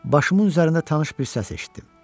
Başımın üzərində tanış bir səs eşitdim.